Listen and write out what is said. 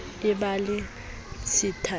e ba le tshita e